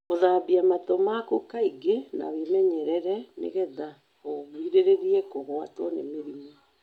Gũthambia matũ maku kaingĩ na wĩmenyerere nĩ getha ũgirĩrĩrie kũgwatwo nĩ mĩrimũ.